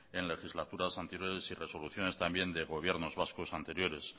en legislaturas anteriores y resoluciones también de gobiernos vascos anteriores